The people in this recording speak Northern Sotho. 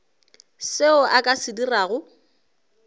seo a ka se dirago